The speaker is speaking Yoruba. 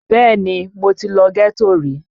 Bẹ́ẹ̀ni mo ti lọ ghetto rí